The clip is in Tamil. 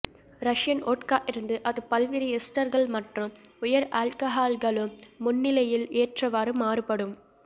ரஷியன் ஓட்கா இருந்து அது பல்வேறு எஸ்டர்கள் மற்றும் உயர் ஆல்கஹால்களும் முன்னிலையில் ஏற்றவாறு மாறுபடும்